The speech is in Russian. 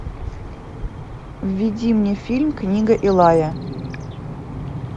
введи мне фильм книга илая